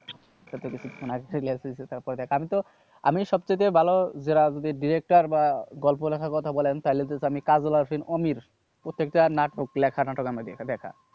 তারপরে দেখ আমি তো, আমি সব চাইতে ভালো যারা director বা গল্প লেখার কথা বলেন তাইলে just আমি কাজল হোসেন অমির প্রত্যেকটা নাটক লেখা নাটক আমার দেখা দেখা।